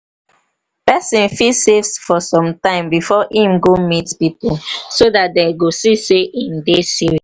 person fit save for sometime before im go meet pipo so dat dem go see sey im dey serious